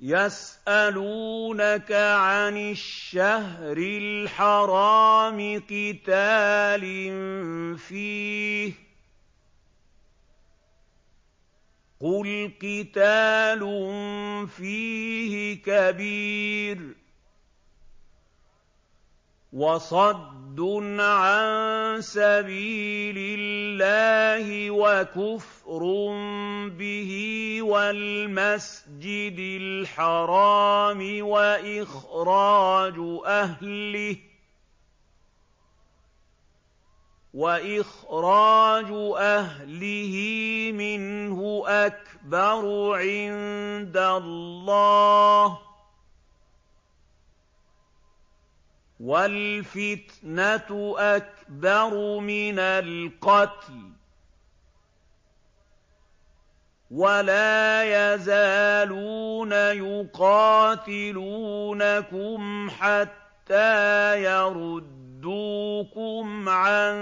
يَسْأَلُونَكَ عَنِ الشَّهْرِ الْحَرَامِ قِتَالٍ فِيهِ ۖ قُلْ قِتَالٌ فِيهِ كَبِيرٌ ۖ وَصَدٌّ عَن سَبِيلِ اللَّهِ وَكُفْرٌ بِهِ وَالْمَسْجِدِ الْحَرَامِ وَإِخْرَاجُ أَهْلِهِ مِنْهُ أَكْبَرُ عِندَ اللَّهِ ۚ وَالْفِتْنَةُ أَكْبَرُ مِنَ الْقَتْلِ ۗ وَلَا يَزَالُونَ يُقَاتِلُونَكُمْ حَتَّىٰ يَرُدُّوكُمْ عَن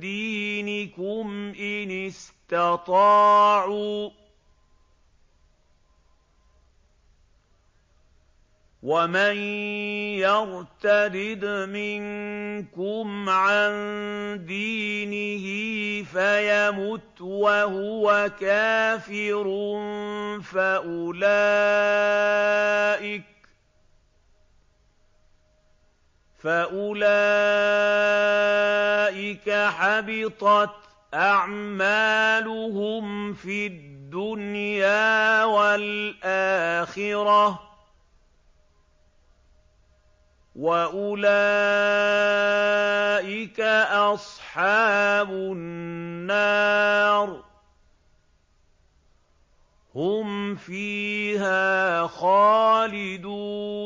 دِينِكُمْ إِنِ اسْتَطَاعُوا ۚ وَمَن يَرْتَدِدْ مِنكُمْ عَن دِينِهِ فَيَمُتْ وَهُوَ كَافِرٌ فَأُولَٰئِكَ حَبِطَتْ أَعْمَالُهُمْ فِي الدُّنْيَا وَالْآخِرَةِ ۖ وَأُولَٰئِكَ أَصْحَابُ النَّارِ ۖ هُمْ فِيهَا خَالِدُونَ